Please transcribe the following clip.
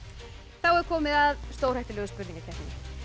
er komið að stórhættulegu spurningakeppninni